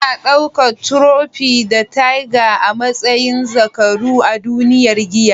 Ana daukar Trofi da Teiga a matsayin zakaru a duniyar giya.